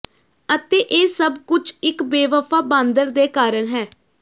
ਅਤੇ ਇਹ ਸਭ ਕੁਝ ਇਕ ਬੇਵਫ਼ਾ ਬਾਂਦਰ ਦੇ ਕਾਰਨ ਹੈ